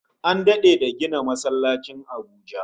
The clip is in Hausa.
An dade da gina masallacin Abuja